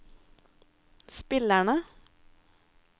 spillerne